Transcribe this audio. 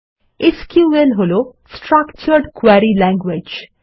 SQL হল structured query language